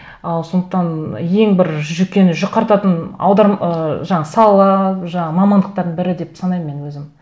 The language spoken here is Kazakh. ы сондықтан ең бір жүйкені жұқартатын ы жаңағы сала жаңағы мамандықтардың бірі деп санаймын мен өзім